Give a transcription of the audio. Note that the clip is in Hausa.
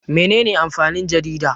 Mene ne amfanin jarida?